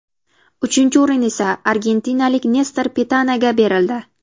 Uchinchi o‘rin esa argentinalik Nestor Pitanaga berildi.